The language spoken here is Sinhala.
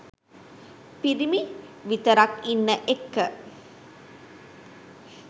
පිරිමි විතරක් ඉන්න එක්ක